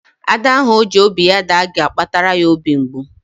Ada ahụ ọ ji obi ya daa ga-akpatara ya obi mgbu.